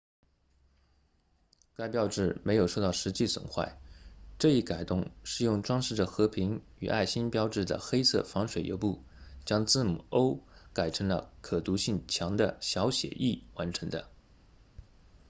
该标志没有受到实际损坏这一改动是用装饰着和平与爱心标志的黑色防水油布将字母 o 改成了可读性强的小写 e 完成的